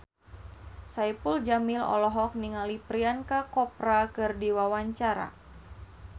Saipul Jamil olohok ningali Priyanka Chopra keur diwawancara